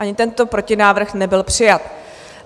Ani tento protinávrh nebyl přijat.